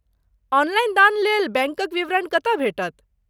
Online दानलेल बैंकक विवरण कतय भेटत?